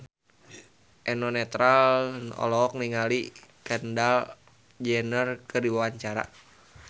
Eno Netral olohok ningali Kendall Jenner keur diwawancara